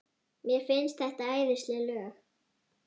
Mér finnst þetta æðisleg lög.